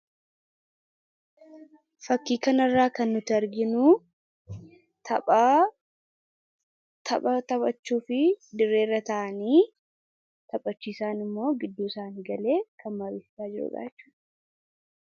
Fakkii kana irraa kan nuti arginu tapha taphachuuf dirree irratti geengoo uumanii taa'anii jiru. Taphachiisaani gidduu isaanii galee mariisisaa jira.